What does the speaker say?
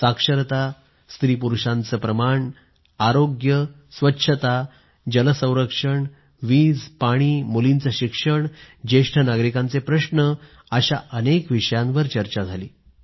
साक्षरता लिंग गुणोत्तर आरोग्य स्वच्छता जल संरक्षण वीज पाणीमुलींचं शिक्षण ज्येष्ठ नागरिकांचे प्रश्न अशा अनेक विषयांवर चर्चा झाली